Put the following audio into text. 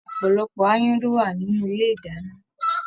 Ọpọlọpọ aáyán ló wà nínú ilé ìdáná.